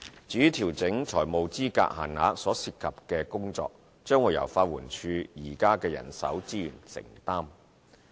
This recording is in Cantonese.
至於調整財務資格限額所涉及的工作，將由法援署的現有人手資源承擔。